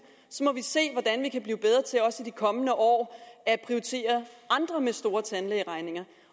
så må vi se hvordan vi kan blive bedre til også i de kommende år at prioritere andre med store tandlægeregninger